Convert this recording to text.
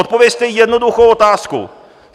Zodpovězte jednoduchou otázku.